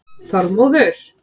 Þormóður